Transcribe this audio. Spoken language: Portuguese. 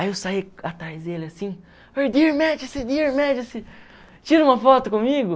Aí eu saí atrás dele assim, Dear Majesty, Dear Majesty, tira uma foto comigo.